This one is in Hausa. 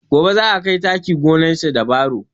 Gobe zai kai taki gonar shi da baro